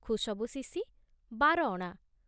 ଖୁଶବୁ ଶିଶି ବାର ଅଣା